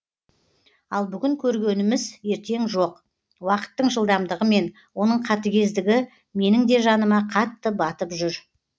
ал бүгін көргеніміз ертең жоқ уақыттың жылдамдығымен оның қатігездігі меніңде жаныма қатты баттып жүр